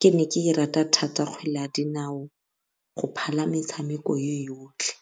ke ne ke e rata kgwele ya dinao go phala metshameko e yotlhe.